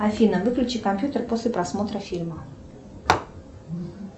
афина выключи компьютер после просмотра фильма